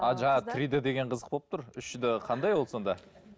а жаңағы три д деген қызық болып тұр үш д қандай ол сонда